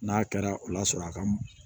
N'a kɛra o la sɔrɔ a ka